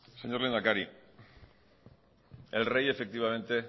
señor lehendakari el rey efectivamente